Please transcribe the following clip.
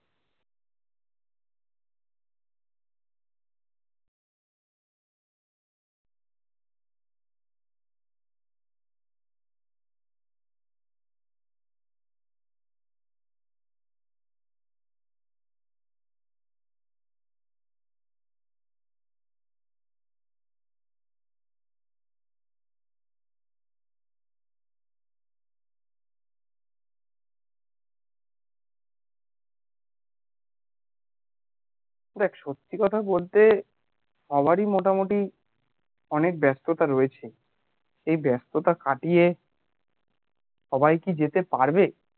দেখ সত্যি কথা বলতে সবারই মোটামোটি অনেক ব্যাস্ততা রয়েছে এই ব্যাস্ততা কাটিয়ে সবাই কি যেতে পারবে